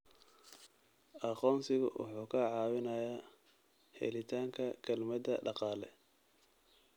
Aqoonsigu wuxuu kaa caawinayaa helitaanka kaalmada dhaqaale.